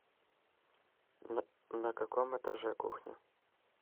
на каком этаже кухня